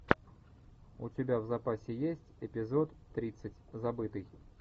у тебя в запасе есть эпизод тридцать забытый